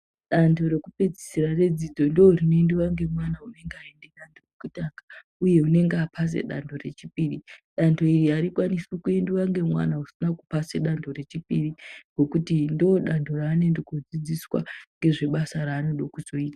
Dando rekupedzisira redzidzo ndoorinoendiwa ngemwana unenge aende dando rekutanga uye unenge apase dando rechipiri. Dando iri harikwanisi kuendiwa nemwana usina kupasa dando rechipiri. Ngekuti ndoodando raanoende kunodzidziswa ngezvebasa raanode kuzoita.